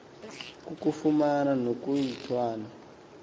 kukufumana nokuba yintwana